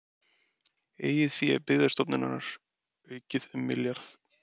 Eigið fé Byggðastofnunar aukið um milljarð